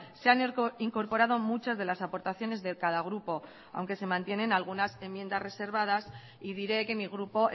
se han incorporado muchas de las aportaciones de cada grupo aunque se mantienen algunas enmiendas reservadas y diré que mi grupo